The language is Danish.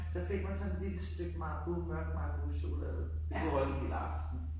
Så fik man sådan et lille stykke Marabou mørk Marabouchokolade det kunne holde en hel aften